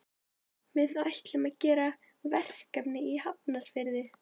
Við ætlum að gera verkefni í Hafnarfirði.